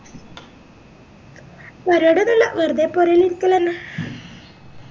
പരിപാടി ഒന്നുല്ല വെറുതെ പൊരേലിരിക്കലന്നെ